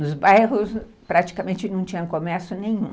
Nos bairros praticamente não tinha comércio nenhum.